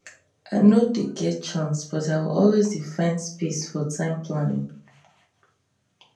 i no dey get chance but i will always dey find space for time planning